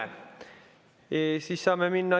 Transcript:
Saame minna.